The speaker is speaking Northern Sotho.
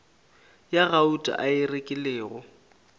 ya gauta a e rekilego